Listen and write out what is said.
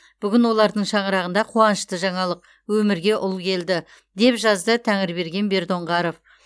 бүгін олардың шаңырағында қуанышты жаңалық өмірге ұл келді деп жазды тәңірберген бердоңғаров